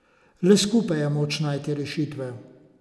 Le skupaj je moč najti rešitve.